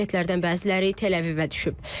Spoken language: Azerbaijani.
Raketlərdən bəziləri Təl-Əvivə düşüb.